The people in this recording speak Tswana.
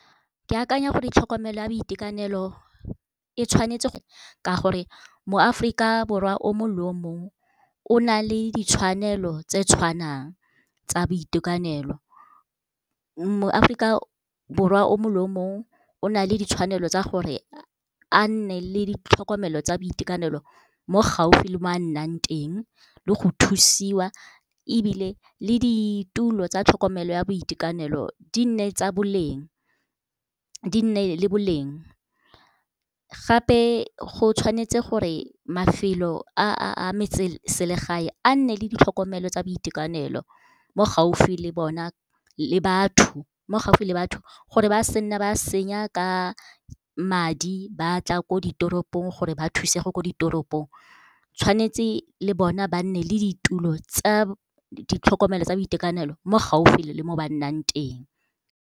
Ke akanya gore tlhokomelo ya boitekanelo e tshwanetse, ka gore moAforika Borwa o mongwe le o mongwe o na le ditshwanelo tse di tshwanang tsa boitekanelo. MoAforika Borwa o mongwe le o mongwe o na le ditshwanelo tsa gore, a nne le ditlhokomelo tsa boitekanelo mo gaufi le mo a nnang teng le go thusiwa, ebile le ditulo tsa tlhokomelo ya boitekanelo di nne le boleng. Gape, go tshwanetse gore mafelo a metseselegae a nne le ditlhokomelo tsa boitekanelo mo gaufi le batho, gore ba se nne ba senya ka madi ba tla ko ditoropong, gore ba thusege ko ditoropong. Tshwanetse le bona ba nne le ditulo tsa ditlhokomelo tsa boitekanelo mo gaufi le mo ba nnang teng.